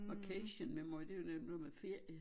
Vacation memory det jo nemt det jo noget med ferie